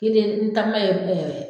Kelen n takuma ye ɛɛ